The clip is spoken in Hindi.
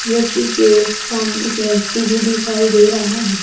झोपड़ी के सामने एक व्यक्ति दिखाई दे रहा है।